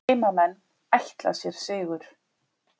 Heimamenn ætla sér sigur